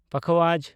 ᱯᱟᱠᱷᱟᱣᱟᱡᱽ